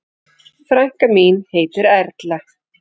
Frænka mín heitir Erla.